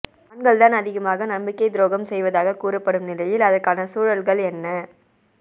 ஆண்கள் தான் அதிகமாக நம்பிக்கை துரோகம் செய்வதாகக் கூறப்படும் நிலையில் அதற்கான சூழல்கள் என்ன